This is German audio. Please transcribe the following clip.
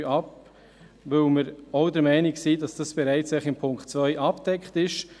Dies, weil wir auch der Meinung sind, dass dies bereits durch Punkt 2 abgedeckt ist.